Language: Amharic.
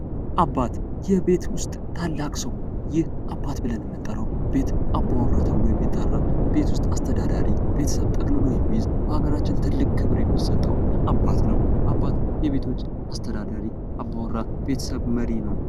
አባት የቤት ዉስጥ ታላቅ ሰው ይህ አባት ብለን የምንጠራው ቤት አባወራ ተብሎ የሚጠራ ቤት ዉስጥ አስተዳዳሪ ቤትን ጠቅልሎ የሚይዝ በሃገራችን ትልቅ ክብር የሚሰጠው አባት ነው። አባት የቤቶች አስተዳዳሪ አባወራ የቤቶች መሪ ነው።